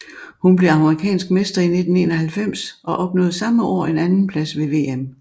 Hun blev amerikansk mester i 1991 og opnåede samme år en andenplads ved VM